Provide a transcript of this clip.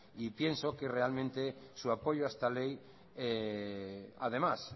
y pienso que realmente su apoyo a esta ley además